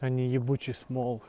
они ебучей